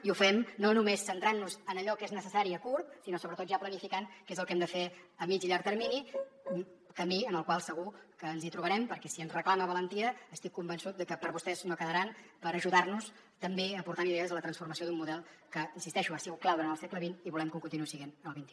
i ho fem no només centrant nos en allò que és necessari a curt sinó sobretot ja planificant què és el que hem de fer a mitjà i llarg termini un camí en el qual segur que ens trobarem perquè si ens reclama valentia estic convençut que per vostès no quedaran per ajudar nos també aportant idees a la transformació d’un model que hi insisteixo ha sigut clau durant el segle xxque ho continuï sent en el xxi